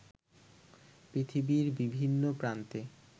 পৃথিবীর বিভিন্ন প্রান্তে